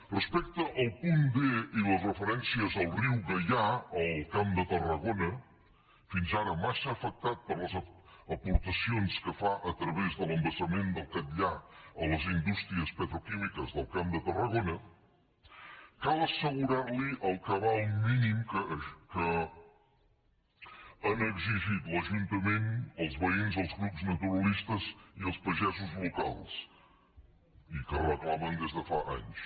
respecte al punt d i les referències al riu gaià al camp de tarragona fins ara massa afectat per les aporta cions que fa a través de l’embassament del catllar a les indústries petroquímiques del camp de tarragona cal assegurar li el cabal mínim que han exigit l’ajuntament els veïns els grups naturalistes i els pagesos locals i que reclamen des de fa anys